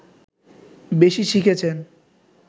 বেশি শিখেছেন